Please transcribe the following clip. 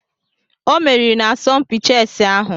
O meriri n'asọmpi chẹsi ahụ.